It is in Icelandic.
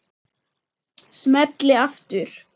Smelli aftur.